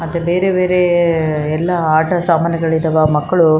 ಈ ಭೂಮಿಯಮೇಲೆ ಹುಲ್ಲು ಕೂಡ ಇದೆ. ಇಲ್ಲಿ ಕಸಾ ಕಡ್ಡಿಗಳು ಬಿದ್ದಿದೆ.